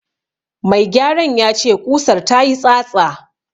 Mai gyaran ya ce ƙusar ta yi tsatsa.